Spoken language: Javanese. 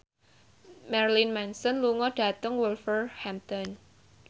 Marilyn Manson lunga dhateng Wolverhampton